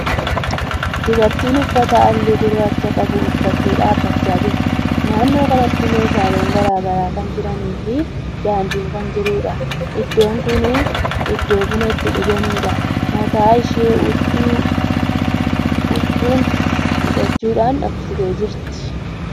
Dubartiin uffata haalluu gurraacha qabu uffattee dhaabbachaa jirti. Naannoo kanatti meeshaalen garagaraa kan jiranii fi daandin kan jiruudha. Iddoon kuni iddoo buna itti dhuganiidha. Mataa ishee huccuu hidhachuudhan dhoksitee jirti.